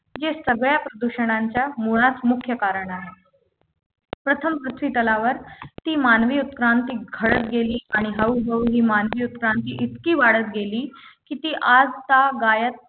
ये सगळ्या प्रदूषणांच्या मुळास मुख्य कारण आहे प्रथम पृथ्वीतलावर ती मानवी उत्क्रांती घडत गेली आणि हळूहळू ही मानवी उत्क्रांती इतकी वाढत गेली की ती आजतागायत